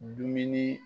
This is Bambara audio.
Dumuni